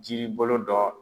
Jiri bolo dɔ